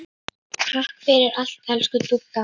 Takk fyrir allt, elsku Dúdda.